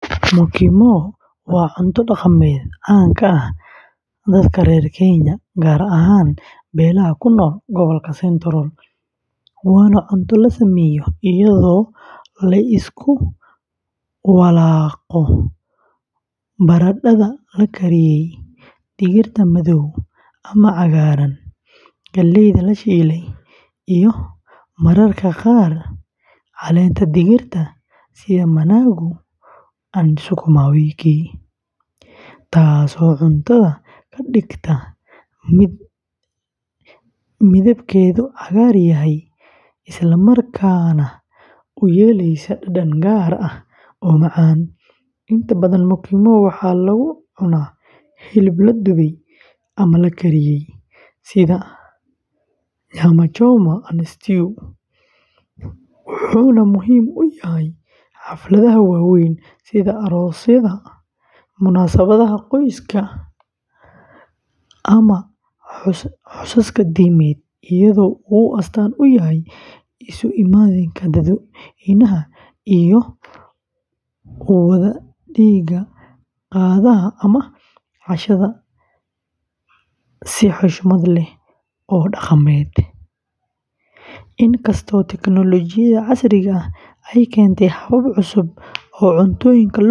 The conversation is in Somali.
Mukimo waa cunto dhaqameed caan ka ah dadka reer Kenya, gaar ahaan beelaha ku nool gobolka Central, waana cunto la sameeyo iyadoo la isku walaabo baradhada la kariyey, digirta madow ama cagaaran, galleyda la shiiday, iyo mararka qaar caleenta dhirta sida managu and sukuma wiki, taasoo cuntada ka dhigta mid midabkeedu cagaar yahay islamarkaana u yeelaysa dhadhan gaar ah oo macaan; inta badan mukimo waxaa lagu cunaa hilib la dubay ama la kariyey, sida nyama choma and stew, wuxuuna muhiim u yahay xafladaha waaweyn sida aroosyada, munaasabadaha qoyska, ama xusaska diimeed, iyadoo uu astaan u yahay isu imaatinka dadweynaha iyo wadaagidda qadada ama cashada si xushmad leh oo dhaqameed; in kasta oo teknoolojiyadda casriga ah ay keentay habab cusub oo cuntooyinka loo kariyo.